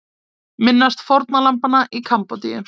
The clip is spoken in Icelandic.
Minnast fórnarlambanna í Kambódíu